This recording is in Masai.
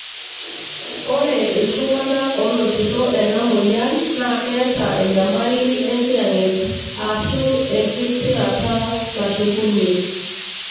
ore iltungana onotito ena moyaian na keeta enyamali engiyanget ashu engitirata nashukunyie.